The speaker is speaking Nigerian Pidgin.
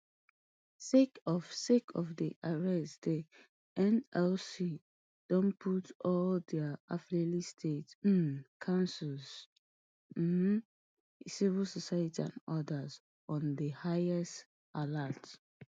sake of sake of di arrest di nlc don put all dia affiliates state um councils um civil society and odas on di highest alert